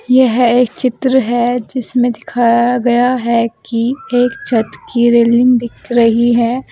यह एक चित्र है जिसमें दिखाया गया है कि एक छत की रेलिंग दिख रही है।